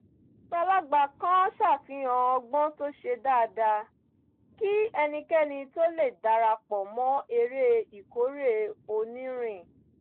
àgbàlagbà kan ṣàfihàn ọgbọ́n tó ṣe dáadáa kí ẹnikẹ́ni tó lè dara pọ̀ mọ́ eré ìkórè onírin